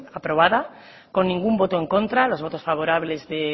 aprobada con ningún voto en contra los votos favorables de